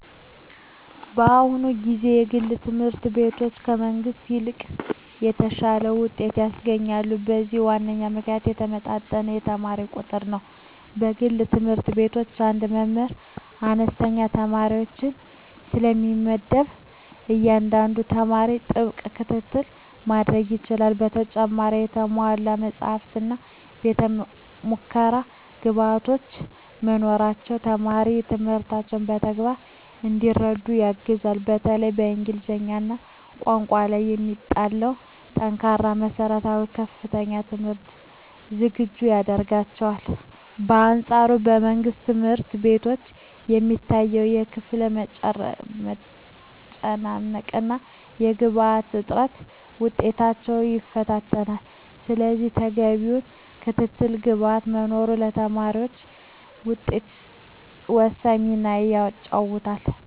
በአሁኑ ጊዜ የግል ትምህርት ቤቶች ከመንግሥት ይልቅ የተሻለ ውጤት ያስገኛሉ። ለዚህም ዋናው ምክንያት የተመጣጠነ የተማሪ ቁጥር ነው። በግል ትምህርት ቤቶች አንድ መምህር ለአነስተኛ ተማሪዎች ስለሚመደብ፣ ለእያንዳንዱ ተማሪ ጥብቅ ክትትል ማድረግ ይቻላል። በተጨማሪም የተሟሉ መጻሕፍትና የቤተ-ሙከራ ግብዓቶች መኖራቸው ተማሪዎች ትምህርቱን በተግባር እንዲረዱ ያግዛል። በተለይም በእንግሊዝኛ ቋንቋ ላይ የሚጣለው ጠንካራ መሠረት ለከፍተኛ ትምህርት ዝግጁ ያደርጋቸዋል። በአንፃሩ በመንግሥት ትምህርት ቤቶች የሚታየው የክፍል መጨናነቅና የግብዓት እጥረት ውጤታማነትን ይፈታተናል። ስለዚህ ተገቢው ክትትልና ግብዓት መኖሩ ለተማሪዎች ስኬት ወሳኝ ሚና ይጫወታል።